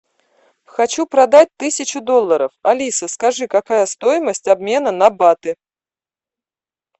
хочу продать тысячу долларов алиса скажи какая стоимость обмена на баты